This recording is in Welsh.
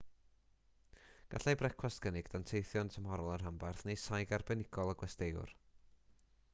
gallai brecwast gynnwys danteithion tymhorol y rhanbarth neu saig arbenigol y gwesteiwr